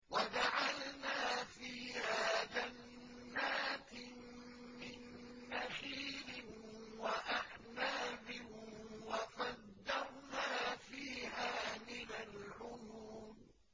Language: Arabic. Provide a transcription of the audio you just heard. وَجَعَلْنَا فِيهَا جَنَّاتٍ مِّن نَّخِيلٍ وَأَعْنَابٍ وَفَجَّرْنَا فِيهَا مِنَ الْعُيُونِ